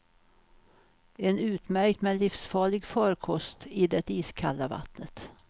En utmärkt men livsfarlig farkost i det iskalla vattnet.